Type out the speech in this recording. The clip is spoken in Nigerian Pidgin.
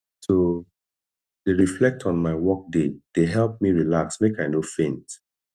to dey reflect on my workday dey help me relax make i no faint